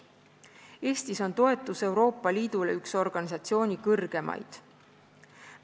Eestis on toetus Euroopa Liidule üks organisatsiooni kõrgemaid.